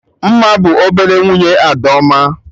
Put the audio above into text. Mma bụ ọbele nwunye Adaoma